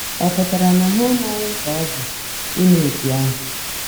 Ọ pụtara na ha amaghị mkpa ọ dị ime etu ahụ?